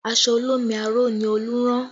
Aṣọ olómi aró ni Olú rán